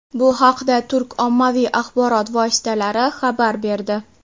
Bu haqda turk ommaviy axborot vositalari xabar berdi.